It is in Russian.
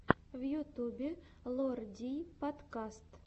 в ютюбе лор дий подкаст